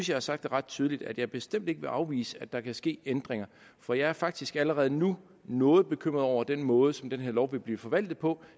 jeg har sagt ret tydeligt at jeg bestemt ikke vil afvise at der kan ske ændringer for jeg er faktisk allerede nu noget bekymret over den måde som den her lov vil blive forvaltet på